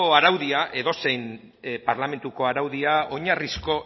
araudia edozein parlamentuko araudia oinarrizko